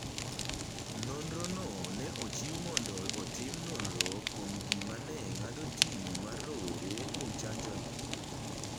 Nonro no ne ochiw mondo otim nonro kuom gima ne ng’ado tim mar rowere kuom chanjono.